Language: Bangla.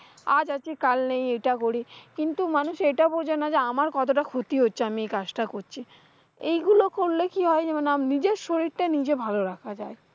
আজ আছি কাল নেই। এটা করি কিন্তু, মানুষ এটা বোঝে না যে আমার কতটা ক্ষতি আছে আমি এই কাজটা করছি। এইগুলো করলে কি হয়? যেমন আম নিজের শীররটা নিজে ভালো রাখা যায়।